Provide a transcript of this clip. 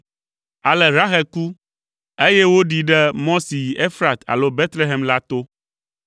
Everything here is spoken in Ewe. Ale Rahel ku, eye woɖii ɖe mɔ si yi Efrat alo Betlehem la to.